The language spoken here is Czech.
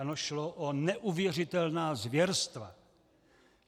Ano, šlo o neuvěřitelná zvěrstva.